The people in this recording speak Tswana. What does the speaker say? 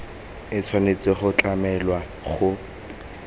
e tshwanetse go tlamelwa go